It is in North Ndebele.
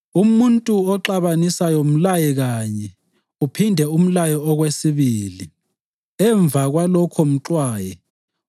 Umuntu oxabanisayo mlaye kanye, uphinde umlaye okwesibili. Emva kwalokho mxwaye.